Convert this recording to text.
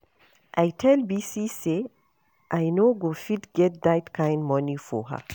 I tell Bisi say I no go fit get dat kin money for her.